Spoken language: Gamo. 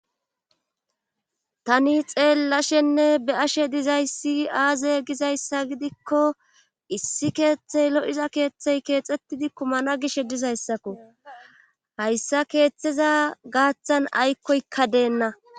tani xeellashenne be'ashe dizayssi aaze gizayssa gidikko issi keeththey lo7iza keeththey keexxettidi kumana gishe dizayssakko hayssa keeththeza gaaththan aykkoykka deenna